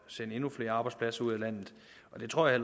sende endnu flere arbejdspladser ud af landet og det tror jeg